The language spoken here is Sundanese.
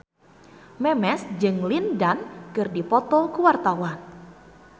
Memes jeung Lin Dan keur dipoto ku wartawan